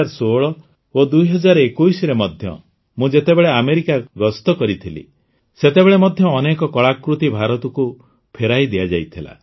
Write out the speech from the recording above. ୨୦୧୬ ଓ ୨୦୨୧ରେ ମଧ୍ୟ ମୁଁ ଯେତେବେଳେ ଆମେରିକା ଗସ୍ତ କରିଥିଲି ସେତେବେଳେ ମଧ୍ୟ ଅନେକ କଳାକୃତି ଭାରତକୁ ଫେରାଇ ଦିଆଯାଇଥିଲା